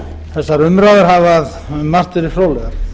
þessar umræður hafa um margt verið fróðlegar